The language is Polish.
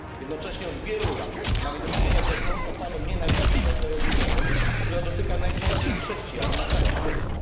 Jednocześnie od wielu lat mamy do czynienia z rosnącą falą nienawiści na tle religijnym, która dotyka najczęściej chrześcijan na całym świecie.